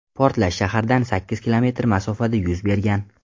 Portlash shahardan sakkiz kilometr masofada yuz bergan.